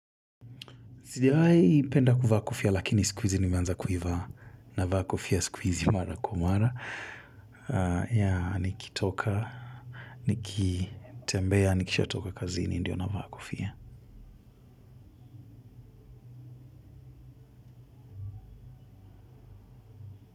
Sijawahi kupenda kuvaa kofia lakini sikuhizi nimeanza kuivaa navaa kofia sikuizi mara kwa mara. Nikitoka, nikitembea, nikishatoka kazini, ndio navaa kofia.